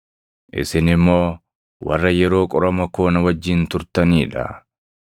Isin immoo warra yeroo qorama koo na wajjin turtanii dha.